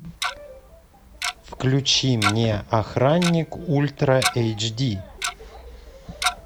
включи мне охранник ультра эйч ди